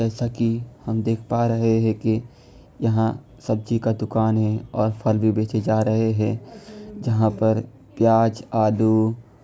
जैसा की हम देख पा रहे है की यहाँ सब्जी का दुकान है और फल भी बेचे जा रहे है जहां पर प्याज आलू--